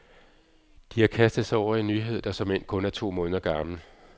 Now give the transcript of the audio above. De har kastet sig over en nyhed, der såmænd kun er to måneder gammel.